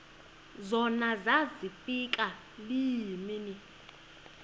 zona zafika iimini